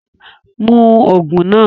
Mú òògùn náà!